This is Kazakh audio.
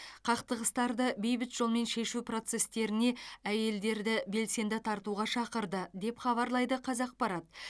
қақтығыстарды бейбіт жолмен шешу процестеріне әйелдерді белсенді тартуға шақырды деп хабарлайды қазақпарат